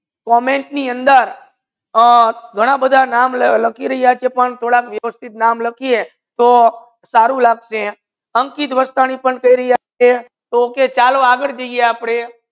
comment ની અંદર ઘના બધા નામ લાખી રહિયા છે પણ થોડક વ્યવસ્થિત નામ લખિયે તો સારુ લગસે અંકિત વસરિયા કહી રહિયા કે okay ચલો આગડ જાયે